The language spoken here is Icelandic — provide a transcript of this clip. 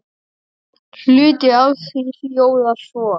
Hluti af því hljóðar svo